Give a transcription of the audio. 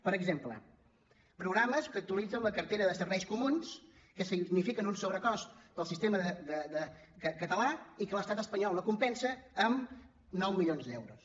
per exemple programes que actualitzen la cartera de serveis comuns que signifiquen un sobrecost per al sistema català i que l’estat espanyol no compensa amb nou milions d’euros